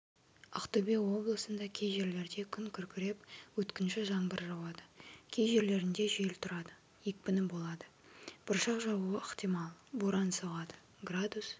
ақтөбе облысында кей жерлерде күн күркіреп өткінші жаңбыр жауады кей жерлерінде жел тұрады екпіні болады бұршақ жаууы ықтимал боран соғады градус